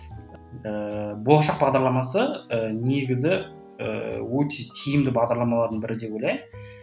ііі болашақ бағдарламасы і негізі ііі өте тиімді бағдарламалардың бірі деп ойлаймын